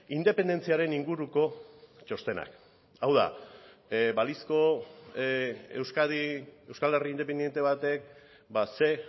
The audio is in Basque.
independentziaren inguruko txostenak hau da balizko euskadi euskal herri independente batek ze